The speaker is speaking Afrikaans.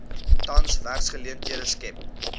tans werksgeleenthede skep